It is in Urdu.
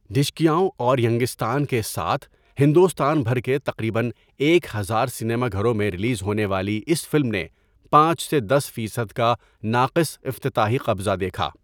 ڈشکیاؤن اور ینگستان کے ساتھ ہندوستان بھر کے تقریبا ایک ہزار سینما گھروں میں ریلیز ہونے والی اس فلم نے پانچ سے دس فیصد کا 'ناقص' افتتاحی قبضہ دیکھا۔